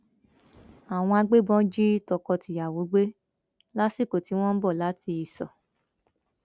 àwọn agbébọn jí tọkọtìyàwó gbé lásìkò tí wọn ń bọ láti ìṣó